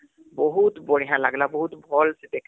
ବଢିଆ ଲାଗଲା, ବହୁତ ଭଲ ସେ ଦେଖଲି